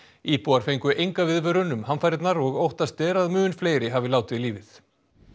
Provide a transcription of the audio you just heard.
íbúar fengu enga viðvörun um hamfarirnar og óttast er að mun fleiri hafi látið lífið